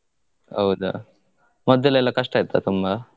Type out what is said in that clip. ಹೌದಾ. ಮೊದ್ದಲೆಲ್ಲ ಕಷ್ಟ ಇತ್ತ ತುಂಬಾ?